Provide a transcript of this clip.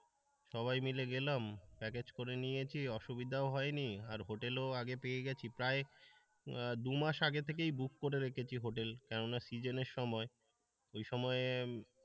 সবাই মিলে গেলাম প্যাকেজ করে নিয়েছি অসুবিধা হয়নি আর হোটেলেও আগে পেয়ে গেছি প্রায় দুমাস আগে থেকেই বুক করে রেখেছি হোটেল কেননা কি সিজনে এর সময় ওই সময়,